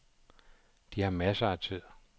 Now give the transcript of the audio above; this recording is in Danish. De har masser af tid.